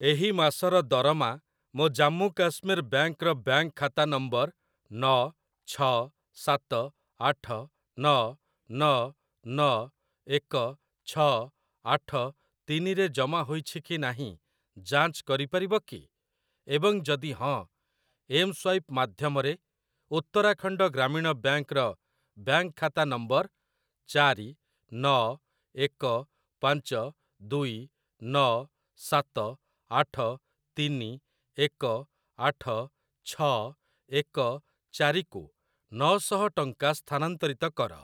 ଏହି ମାସର ଦରମା ମୋ ଜାମ୍ମୁ କାଶ୍ମୀର ବ୍ୟାଙ୍କ୍‌ ର ବ୍ୟାଙ୍କ୍‌ ଖାତା ନମ୍ବର ନ ଛ ସାତ ଆଠ ନ ନ ନ ଏକ ଛ ଆଠ ତିନି ରେ ଜମା ହୋଇଛି କି ନାହିଁ ଯାଞ୍ଚ କରିପାରିବ କି? ଏବଂ ଯଦି ହଁ, ଏମ୍‌ସ୍ୱାଇପ୍‌ ମାଧ୍ୟମରେ ଉତ୍ତରାଖଣ୍ଡ ଗ୍ରାମୀଣ ବ୍ୟାଙ୍କ୍‌ ର ବ୍ୟାଙ୍କ୍‌ ଖାତା ନମ୍ବର ଚାରି ନ ଏକ ପାଞ୍ଚ ଦୁଇ ନ ସାତ ଆଠ ତିନି ଏକ ଆଠ ଛ ଏକ ଚାରି କୁ ନ ଶହ ଟଙ୍କା ସ୍ଥାନାନ୍ତରିତ କର ।